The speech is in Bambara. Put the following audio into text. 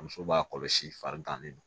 Muso b'a kɔlɔsi farigan de don